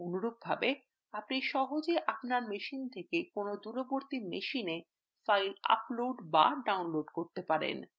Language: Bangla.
অনুরূপভাবে আপনি সহজেই আপনার machine থেকে কোনও দূরবর্তী machine files upload বা download করতে পারেন